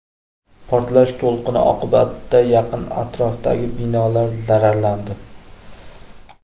Portlash to‘lqini oqibatida yaqin atrofdagi binolar zararlandi.